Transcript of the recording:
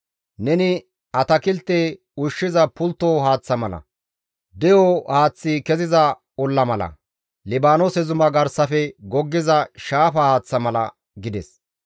Neni atakilte ushshiza pultto haaththa mala; de7o haaththi keziza olla mala; Libaanoose zuma garsafe goggiza shaafa haaththa mala» gides.